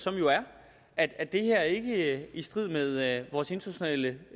af at det her ikke er i strid med vores internationale